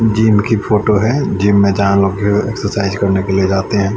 Gym की photo है gym में जहां लोगों के एक्सरसाइज करने के लिए जाते हैं।